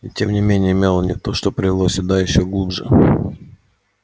и тем не менее мелани то что привело меня сюда ещё глубже